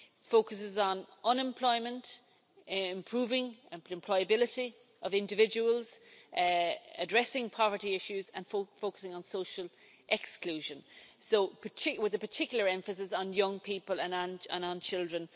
It focuses on unemployment, improving the employability of individuals, addressing poverty issues and focusing on social exclusion with a particular emphasis on young people and on children.